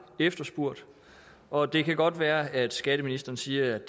efterspurgt og det kan godt være at skatteministeren siger at